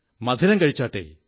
മധുരം കഴിച്ചാട്ടെ